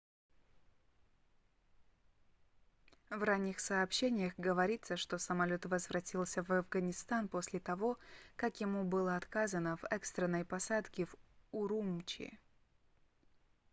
в ранних сообщениях говорится что самолёт возвратился в афганистан после того как ему было отказано в экстренной посадке в урумчи